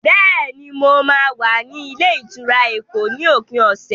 Bẹ́ẹ̀ni, mo máa wà ní ilé-ìtura Èkó ní òpin ọ̀sẹ̀.